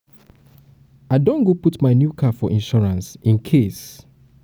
i don go put my new car for insurance incase um